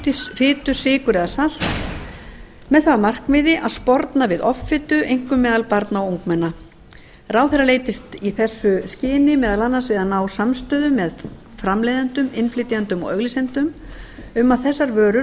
fitu sykur eða salt með það að markmiði að sporna við offitu einkum meðal barna og ungmenna ráðherra leitist í þessu skyni meðal annars við að ná samstöðu með framleiðendum innflytjendum og auglýsendum um að þessar vörur